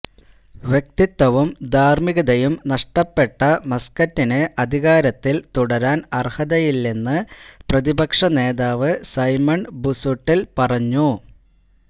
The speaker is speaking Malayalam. വ്യക്തിത്വവും ധാര്മ്മികതയും നഷ്ടപ്പെട്ട മസ്കറ്റിന് അധികാരത്തില് തുടരാന് അര്ഹതയില്ലെന്ന് പ്രതിപക്ഷ നേതാവ് സൈമണ് ബുസുട്ടില് പറഞ്ഞു